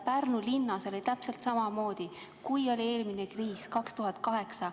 Pärnu linnas oli täpselt samamoodi, kui oli eelmine kriis 2008.